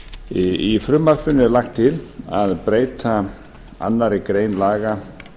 í frumvarpinu er lagt til að breyta annarri grein laga